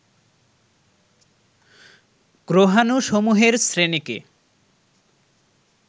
গ্রহাণুসমূহের শ্রেণীকে